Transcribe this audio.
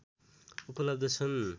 उपलब्ध छन्